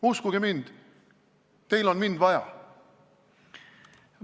Uskuge mind, teil on mind vaja!